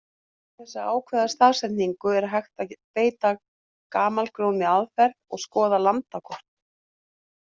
Til þess að ákvarða staðsetningu er hægt að beita gamalgróinni aðferð og skoða landakort.